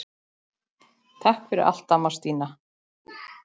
Takk fyrir allt, amma Stína.